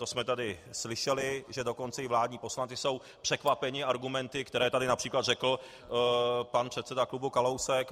To jsme tady slyšeli, že dokonce i vládní poslanci jsou překvapeni argumenty, které tady například řekl pan předseda klubu Kalousek.